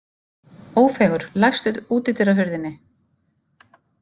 Ófeigur, læstu útidyrahurðinni.